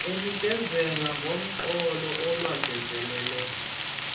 anikezele ngomgqomo wolwangazelelo